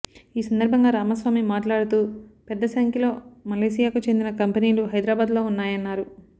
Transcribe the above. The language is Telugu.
ఈ సందర్భంగా రామస్వామి మాట్లాడుతూ పెద్ద సంఖ్యలో మలేసియాకు చెందిన కంపెనీలు హైదరాబాద్లో ఉన్నాయన్నారు